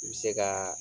I bɛ se ka